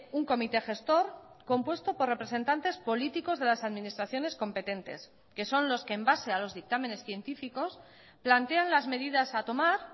un comité gestor compuesto por representantes políticos de las administraciones competentes que son los que en base a los dictámenes científicos plantean las medidas a tomar